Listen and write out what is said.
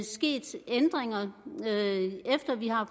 sket ændringer efter vi har